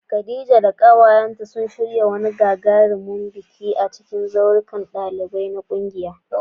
Khadija da kawayenta sun shirya wani gagarumin biki a daya daga cikin zaurukan ɗalibai na kungiyar.